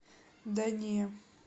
да не